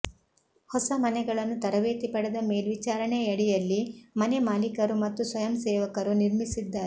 ಹೊಸ ಮನೆಗಳನ್ನು ತರಬೇತಿ ಪಡೆದ ಮೇಲ್ವಿಚಾರಣೆಯಡಿಯಲ್ಲಿ ಮನೆಮಾಲೀಕರು ಮತ್ತು ಸ್ವಯಂಸೇವಕರು ನಿರ್ಮಿಸಿದ್ದಾರೆ